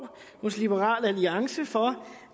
hos liberal alliance for